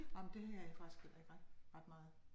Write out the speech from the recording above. Nej men det har jeg faktisk heller ikke ret ret meget